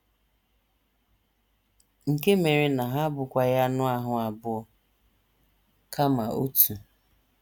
Nke mere na ha abụkwaghị anụ ahụ́ abụọ, kama otu.